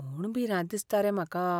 म्हूण भिरांत दिसता रे म्हाका.